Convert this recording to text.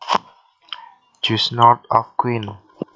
just north of Queen